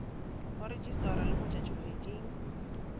go rejistarwa le mo tšatšikgweding